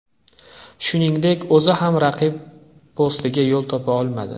Shuningdek, o‘zi ham raqib postiga yo‘l topa olmadi.